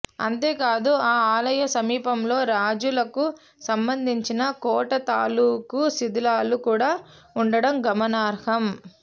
అంతే కాదు ఆ ఆలయ సమీపంలో రాజులకు సంబంధించిన కోట తాలూకు శిథిలాలు కూడా ఉండడం గమనార్హం